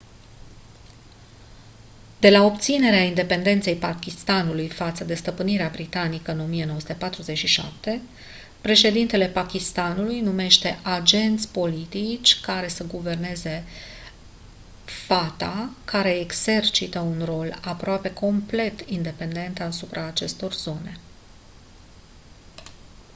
de la obținerea independenței pakistanului față de stăpânirea britanică în 1947 președintele pakistanului numește agenți politici care să guverneze fata care exercită un control aproape complet independent asupra acestor zone